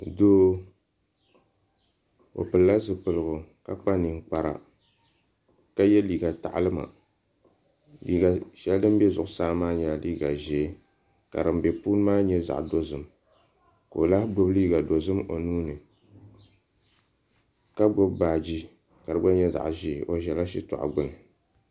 Doo o pilila zipiligu ka kpa ninkpara ka yɛ liiga taɣalima liiga shɛli din bɛ zuɣusaa maa nyɛla liiga ʒiɛ ka din bɛ puuni maa nyɛ zaɣ dozim ka o lahi gbubi liiga dozim o nuuni ka di gba nyɛ zaɣ dozim ka gbubi baaji ka di nyɛ zaɣ ʒiɛ